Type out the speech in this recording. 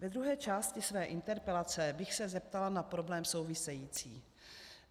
Ve druhé části své interpelace bych se zeptala na problém související.